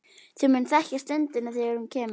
Þú munt þekkja stundina þegar hún kemur.